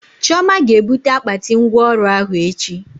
Chioma ga ebute akpati ngwa ọrụ ahụ echi